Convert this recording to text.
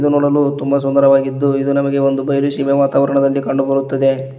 ನೋಡಲು ತುಂಬಾ ಸುಂದರವಾಗಿದ್ದು ಇದು ನಮಗೆ ಒಂದು ಬಯಲು ಸೀಮೆ ವಾತಾವರಣದಲ್ಲಿ ಕಂಡುಬರುತ್ತದೆ.